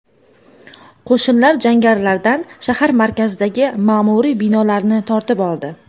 Qo‘shinlar jangarilardan shahar markazidagi ma’muriy binolarni tortib oldi.